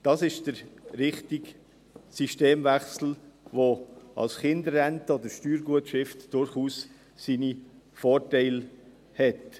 Das ist der richtige Systemwechsel, der mit einer Kinderrente oder Steuergutschrift durchaus seine Vorteile hat.